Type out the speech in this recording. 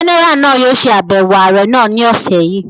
Jẹ́nẹ́rà náà yóò ṣe àbẹ̀wò ààrẹ́ náà ni ọ̀sẹ̀ yìí